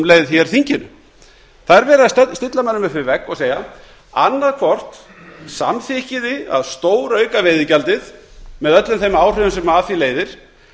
leið þinginu það er verið að stilla mönnum upp við og segja annaðhvort samþykkið þið að stórauka veiðigjaldið með öllum þeim áhrifum sem af því leiðir